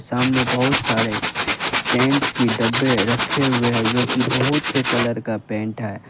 सामने बहुत सारे पेंट के डब्बे रखे हुए हैं जो की बहुत से कलर का पेंट है।